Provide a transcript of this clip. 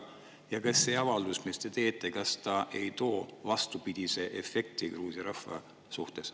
Ja kas see avaldus, mille te teete, ei too vastupidise efekti Gruusia rahva jaoks?